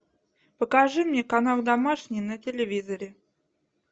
покажи мне канал домашний на телевизоре